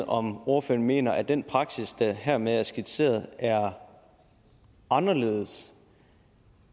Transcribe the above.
om ordføreren mener at den praksis der hermed er skitseret er anderledes